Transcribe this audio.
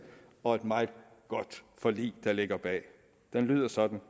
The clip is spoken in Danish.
og et meget godt forlig der ligger bag det lyder sådan